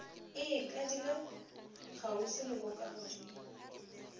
e ikadile kgauswi le bokagodimo